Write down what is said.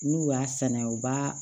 N'u y'a sɛnɛ u b'a